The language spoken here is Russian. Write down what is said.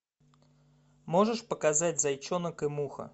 можешь показать зайчонок и муха